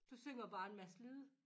Du synger bare en masse lyde